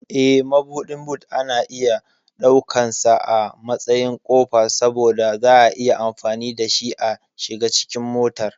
Eh, Mabuɗin boot ana iya ɗaukansa a matsayin ƙofa saboda za'a iya amfani dashi a shiga cikin motar.